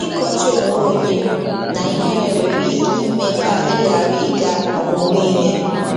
Ịkọcha onwe onye na ihere nwere ike ime ka ị ghara ịga ọmụmụ ihe.